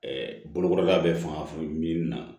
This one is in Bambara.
bolokolida bɛ fanga fana min na